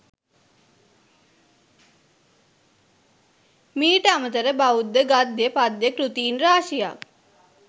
මීට අමතරව බෞද්ධ ගද්‍ය පද්‍ය කෘතීන් රාශියක්